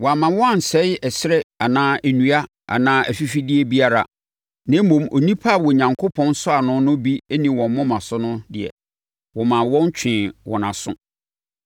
Wɔama wɔn ansɛe ɛserɛ anaa nnua anaa afifideɛ biara, na mmom, nnipa a Onyankopɔn nsɔano no bi nni wɔn moma so no deɛ, wɔmaa wɔn twee wɔn aso.